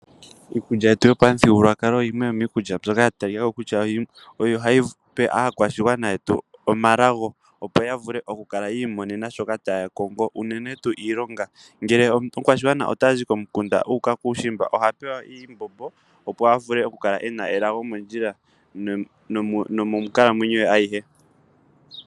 Iikulya yetu yopamuthigululwakalo yimwe yomiikulya mbyoka ya talika ko kutya oyo hayi pe aakwashigwana yetu omalago opo ya vule oku kala yi imonena shoka taya kongo unene tuu iilonga, ngele omukwashigwana otazi komukunda uuka kuushimba oha pewa iimbombo opo a vule oku kala e na elago mondjila nomonkalamwenyo ye ayihe.